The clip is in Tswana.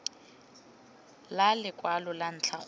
la lekwalo la ntlha go